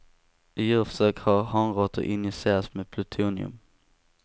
I djurförsök har hanråttor injicerats med plutonium.